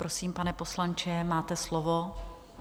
Prosím, pane poslanče, máte slovo.